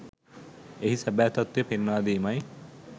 එහි සැබෑ තත්වය පෙන්වා දීමයි.